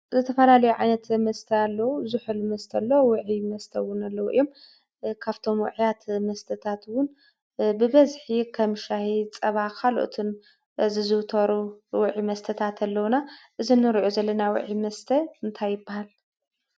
ዘተፋላለዮዓነት መስተሎ ዙኅል መስተሎ ውዒ መስተውን ኣለዉ እዮም ካብቶምውዕያት መስተታትውን ብበዝኂ ኸም ሻይ ጸባ ኻልኦትን ዝዙውተሩ ውዒ መስተታት ኣለዉና እዝንርእዑ ዘለና ዊዒ መስተ እንታይበሃል?